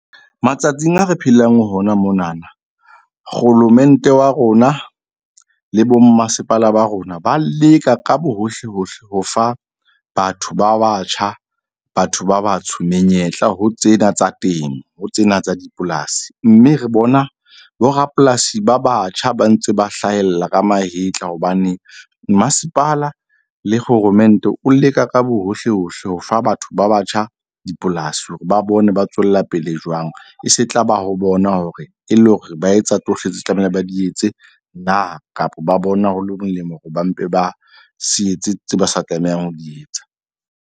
Matsatsing a re phelang ho hona monana, kgolomente wa rona le bo mmasepala ba rona ba leka ka bohohle hohle ho fa batho ba batjha, batho ba batsho menyetla ho tsena tsa temo ho tsena tsa dipolasi. Mme re bona borapolasi ba batjha ba ntse ba hlahella ka mahetla. Hobane mmasepala le kgoromente o leka ka bohohle hohle ho fa batho ba batjha dipolasi hore ba bone ba tswella pele jwang. E se tla ba ho bona hore e le hore ba etsa tsohle tseo tlamehile ba di etse na, kapa ba bona hole molemo hore ba mpe ba se etse, tseo ba sa tlamehang ho di etsa.